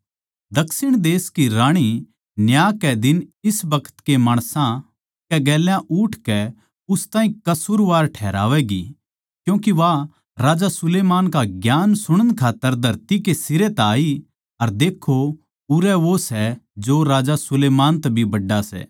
दक्षिण देश की राणी न्याय कै दिन इस बखत के माणसां कै गेल्या उठकै उन ताहीं कसूरवार ठैहरावैगी क्यूँके वा राजा सुलैमान का ज्ञान सुणन खात्तर धरती कै सिरे तै आई अर देक्खों उरै वो सै जो राजा सुलैमान तै भी बड्ड़ा सै